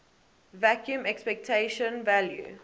vacuum expectation value